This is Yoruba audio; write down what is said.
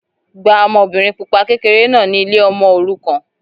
Gba ọmọbìnrin pupa kékeré náà ni ilé ọmọ òrukàn.